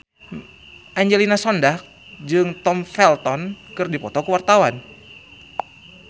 Angelina Sondakh jeung Tom Felton keur dipoto ku wartawan